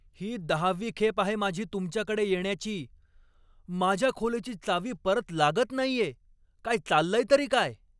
ही दहावी खेप आहे माझी तुमच्याकडे येण्याची. माझ्या खोलीची चावी परत लागत नाहीये. काय चाललंय तरी काय?